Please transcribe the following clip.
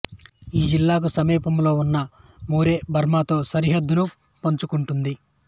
ఈ జిల్లాకు సమీపంలో ఉన్న మోరే బర్మాతో సరిహద్దును పంచుకుంటుంది